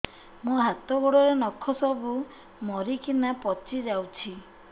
ମୋ ହାତ ଗୋଡର ନଖ ସବୁ ମରିକିନା ପଚି ଯାଉଛି